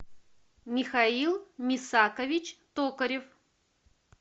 михаил мисакович токарев